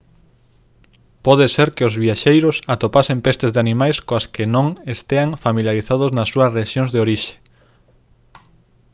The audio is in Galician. pode ser que os viaxeiros atopen pestes de animais coas que non estean familiarizados nas súas rexións de orixe